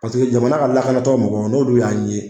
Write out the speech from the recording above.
Paseke jamana ka lakanatɔn mɔgɔw n'olu y'an ye